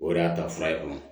O de y'a ta fura ye o